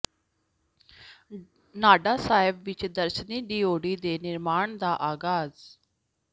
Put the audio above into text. ਨਾਢਾ ਸਾਹਿਬ ਵਿਚ ਦਰਸ਼ਨੀ ਡਿਓਢੀ ਦੇ ਨਿਰਮਾਣ ਦਾ ਆਗਾਜ਼